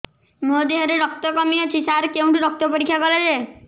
ମୋ ଦିହରେ ରକ୍ତ କମି ଅଛି ସାର କେଉଁଠି ରକ୍ତ ପରୀକ୍ଷା କରାଯାଏ